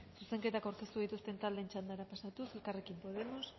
zuzenketak aurkeztu dituzten taldeen txandara pasatuz elkarrekin podemos